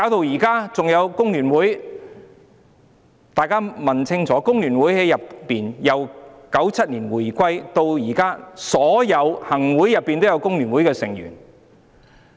還有工聯會，大家問清楚工聯會吧，由1997年回歸至今，每一屆行政會議都有工聯會的成員。